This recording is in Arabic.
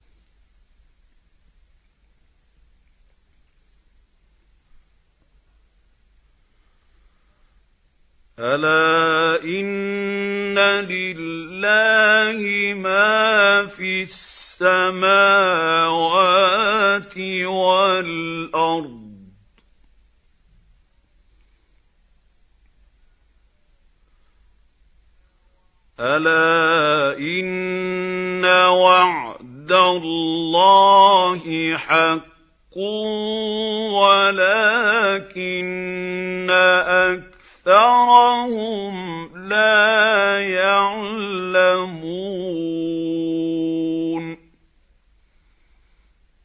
أَلَا إِنَّ لِلَّهِ مَا فِي السَّمَاوَاتِ وَالْأَرْضِ ۗ أَلَا إِنَّ وَعْدَ اللَّهِ حَقٌّ وَلَٰكِنَّ أَكْثَرَهُمْ لَا يَعْلَمُونَ